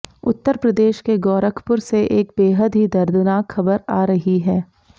उत्तर प्रदेश के गोरखपुर से एक बेहद ही दर्दनाक खबर आ रही है